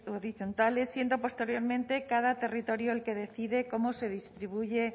horizontales siendo posteriormente cada territorio el que decide cómo se distribuye